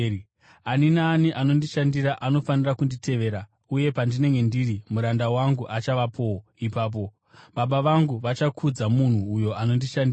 Ani naani anondishandira anofanira kunditevera; uye pandinenge ndiri, muranda wangu achavapowo ipapo. Baba vangu vachakudza munhu uyo anondishandira.